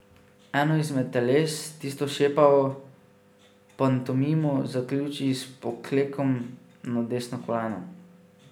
Eno izmed teles, tisto šepavo, pantomimo zaključi s poklekom na desno koleno.